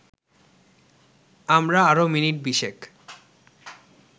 আমরা আরও মিনিট বিশেক